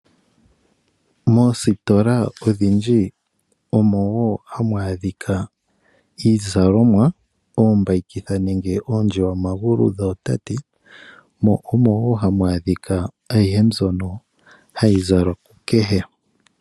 Moositola odhindji omo woo hamu a dhikwa iizalomwa, oombayikitha nenge oondjiwamagulu dhootate, mo omo woo hamu a dhika ayihe mbyono hayi zalwa kukehe.